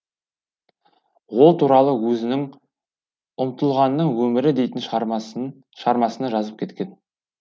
ол туралы өзінің ұмтылғанның өмірі дейтін шығармасында жазып кеткен